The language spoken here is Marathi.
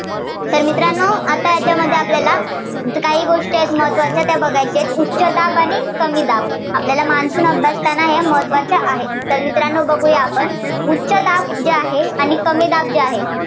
तर मित्रांनो, आता याच्यामध्ये आपल्याला काही गोष्टी आहेत, त्या महत्त्वाच्या बघायच्या आहेत. उच्च दाब आणि कमी दाब. आपल्याला monsoon अभ्यासताना हे महत्त्वाचे आहे. तर मित्रांनो बघुयात आपण उच्च दाब जे आहे आणि कमी दाब जे आहे.